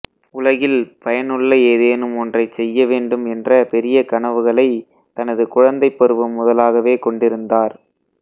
உலகில் பயனுள்ள ஏதேனும் ஒன்றைச் செய்ய வேண்டும் என்ற பெரிய கனவுகளைத் தனது குழந்தைப் பருவம் முதலாகவே கொண்டிருந்தார்